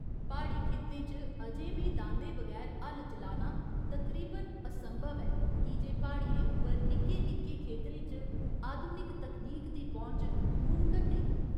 प्हाड़ी खित्ते च अजें बी दांदें बगैर हल चलाना तकरीबन असंभव ऐ की जे प्हाड़ियें उप्पर निक्के निक्के खेतरें च आधुनिक तकनीक दी पौंह्च मुमकन नेईं।